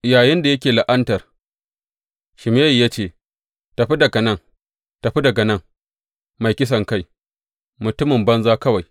Yayinda yake la’antar, Shimeyi ya ce, Tafi daga nan, tafi daga nan, mai kisankai, mutumin banza kawai!